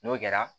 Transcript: N'o kɛra